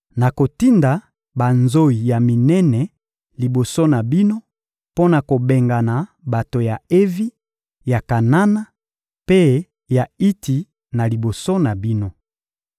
Nakotinda banzoyi ya minene liboso na bino mpo na kobengana bato ya Evi, ya Kanana mpe ya Iti na liboso na bino.